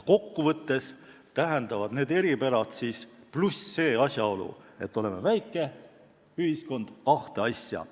Kokku võttes tähendavad need eripärad pluss asjaolu, et me oleme väike ühiskond, kahte asja.